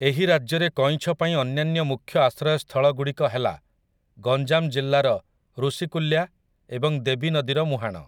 ଏହି ରାଜ୍ୟରେ କଇଁଛ ପାଇଁ ଅନ୍ୟାନ୍ୟ ମୁଖ୍ୟ ଆଶ୍ରୟସ୍ଥଳ ଗୁଡ଼ିକ ହେଲା ଗଞ୍ଜାମ ଜିଲ୍ଲାର ଋଷିକୂଲ୍ୟା ଏବଂ ଦେବୀ ନଦୀର ମୁହାଣ ।